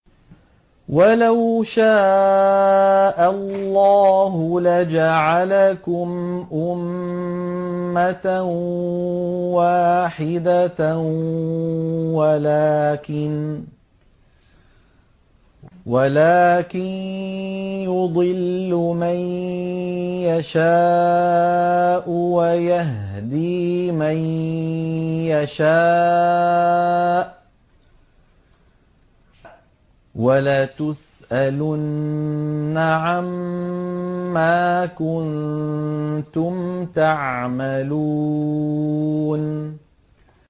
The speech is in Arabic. وَلَوْ شَاءَ اللَّهُ لَجَعَلَكُمْ أُمَّةً وَاحِدَةً وَلَٰكِن يُضِلُّ مَن يَشَاءُ وَيَهْدِي مَن يَشَاءُ ۚ وَلَتُسْأَلُنَّ عَمَّا كُنتُمْ تَعْمَلُونَ